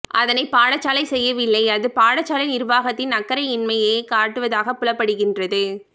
அதனை பாடசாலை செய்யவில்லை அது பாடசாலை நிர்வாகத்தின் அக்கறையின்மையே காட்டுவதாக புலப்படுகின்றது